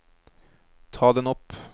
ta den opp